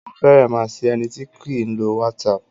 Ó fẹ̀rẹ má sí ẹni tí kìí lo whatsapp.